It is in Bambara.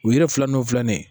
U yiri filaninw filanin